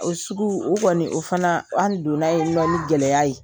O sugu, o kɔni, o fanaa o an donna yennɔ ni gɛlɛya ye.